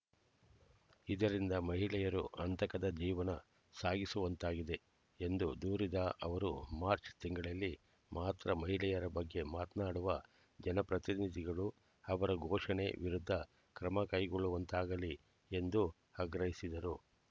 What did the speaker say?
ಇದರಿಂದ ಮಹಿಳೆಯರು ಆತಂಕದ ಜೀವನ ಸಾಗಿಸುವಂತಾಗಿದೆ ಎಂದು ದೂರಿದ ಅವರು ಮಾರ್ಚ್ ತಿಂಗಳಲ್ಲಿ ಮಾತ್ರ ಮಹಿಳೆಯರ ಬಗ್ಗೆ ಮಾತನಾಡುವ ಜನಪ್ರತಿನಿಧಿಗಳು ಅವರ ಶೋಷಣೆ ವಿರುದ್ಧ ಕ್ರಮ ಕೈಗೊಳ್ಳುವಂತಾಗಲಿ ಎಂದು ಆಗ್ರಹಿಸಿದರು